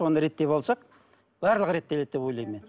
оны реттеп алсақ барлығы реттеледі деп ойлаймын мен